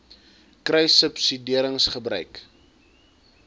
kruissubsidiëringgebruik